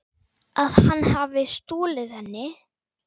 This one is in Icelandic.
Að hann hafi stolið henni?